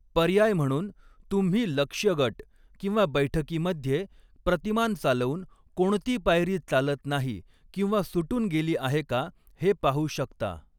पर्याय म्हणून, तुम्ही लक्ष्य गट किंवा बैठकीमध्ये प्रतिमान चालवून, कोणती पायरी चालत नाही किंवा सुटून गेली आहे का हे पाहू शकता.